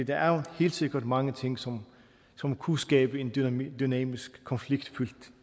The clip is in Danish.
der er helt sikkert mange ting som som kunne skabe en dynamisk dynamisk konfliktfyldt